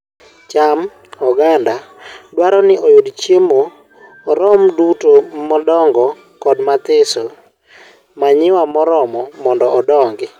cham oganda dwaro ni oyud chiemo oromo duto madongo kod mathiso manure moromo mondo odong.